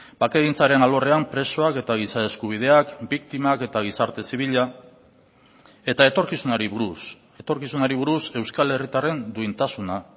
bakegintzaren alorrean presoak eta giza eskubideak biktimak eta gizarte zibila eta etorkizunari buruz etorkizunari buruz euskal herritarren duintasuna